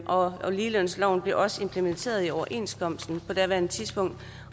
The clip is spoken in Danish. og ligelønsloven blev også implementeret i overenskomsten på daværende tidspunkt